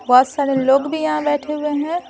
बहुत सारे लोग भी यहां बैठे हुए हैं।